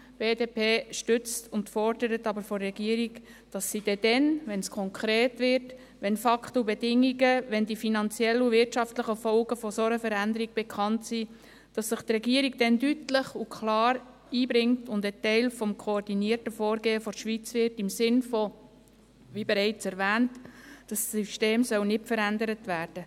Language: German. Die BDP stützt die Regierung und fordert von der Regierung, dass diese sich – wenn es konkret wird, wenn Fakten und Bedingungen, wenn die finanziellen und wirtschaftlichen Folgen einer solchen Veränderung bekannt sind – deutlich und klar einbringt und ein Teil des koordinierten Vorgehens der Schweiz wird, in dem Sinn, wie bereits erwähnt, dass das System nicht verändert wird.